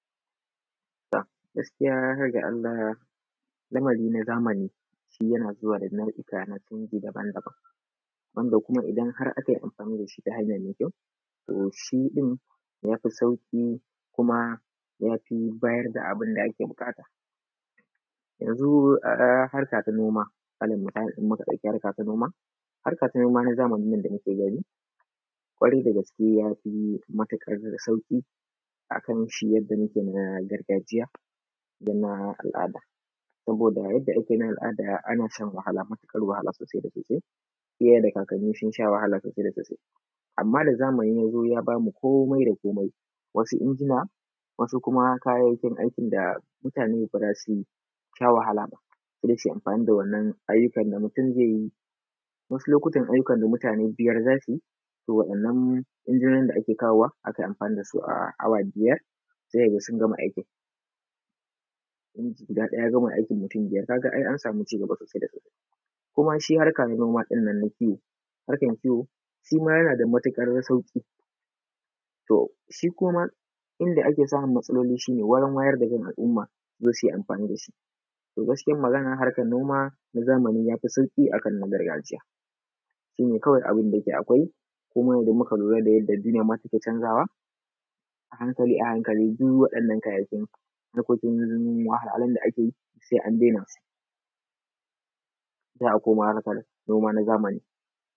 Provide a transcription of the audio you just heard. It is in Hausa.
To gaskiya har ga Allah lamari na zamani shi yana zuwa da nau’uka na canji daban-daban, wanda kuma idan har aka yi amfani da shi ta hanya mai kyau, to shi ɗin ya fi sauƙi kuma ya fi bayar da abin da ake buƙata. Yanzu harka ta noma, alal misali in muka ɗauki harka ta noma, harka ta noma na zamani yanda muke gani ƙwarai da gaske ya fi matuƙar sauƙi akan shi yadda muke na gargajiya da ma al’ada. Saboda yadda ake na al’ada ana shan wahala matiƙar wahala sosai da sosai, iyaye da kakanni sun sha wahala sosai da sosai. Amma da zamani ya zo ya bamu komai da komai, wasu injina, wasu kuma kayayyakin aikin da mutane ba za su sha wahala, sai dai suyi amfani da wannan ayyukan da mutum zai yi. Wasu lokutan ayyukan da mutane biyar za su yi, to waɗannan injinonin da ake kawowa ake amfani dasu a awa biyar sai ka ga sun gama aikin, inji guda ɗaya ya gama aikin mutum biyar ka ga ai an samu ci-gaba sosai da sosai. Kuma shi harka na noma ɗinnan na kiwo, harkan kiwo, shima yana da matuƙar sauƙi, to shi kuma inda ake samun matsaloli shi ne wurin wayar da kan al’umma su zo su yi amfani da shi. To gaskiyan Magana harkan noma na zamani ya fi sauƙi akan na gargajiya, shi ne kawai abinda yake akwai, kuma idan muka lura da yanda duniya ma take canzawa, a hankali a hankali duk waɗannan kayayyakin lokacin noma duk wahalhalun da ake yi sai an daina su, sai a koma harkan noma na zamani.